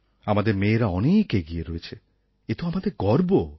আমাদের মেয়েরা অনেক এগিয়ে রয়েছে এতো আমাদের গর্ব